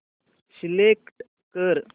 select कर